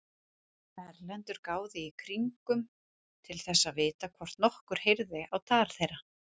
Erlendur gáði í kringum til þess að vita hvort nokkur heyrði á tal þeirra.